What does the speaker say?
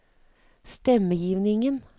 stemmegivningen